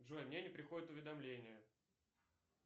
джой мне не приходят уведомления